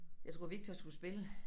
Jeg tror Viktor skulle spille